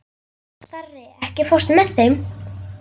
Starri, ekki fórstu með þeim?